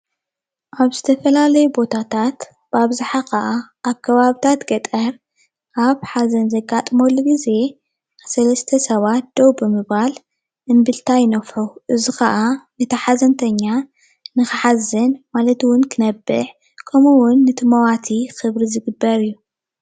ኣብ ዝተፈላለዩ ቦታታት ብኣብዝሓ ክዓ ኣብ ከባብታት ገጠር ኣብ ሓዘን ዘጋጥመሉ ግዜ ሰለስተ ሰባት ደዉ ብምባል እምብልታ ይነፍሑ፡፡ እዚ ኽዓ እቲ ሓዘንተኛ ንኽሓዝን ማለት እዉን ክነብዕ ከምኡ እዉን ነቲ መዋቲ ክብሪ ዝግበር እዩ፡፡